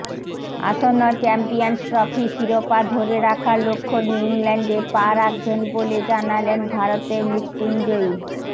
আসন্ন চ্যাম্পিয়ন্স ট্রফির শিরোপা ধরে রাখার লক্ষ্য নিয়ে ইংল্যান্ডে পা রাখবেন বলে জানালেন ভারতের মৃত্যুঞ্জয়ী